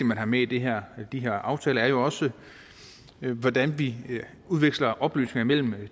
man har med i de her her aftaler er jo også hvordan vi udveksler oplysninger mellem